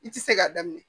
I ti se k'a daminɛ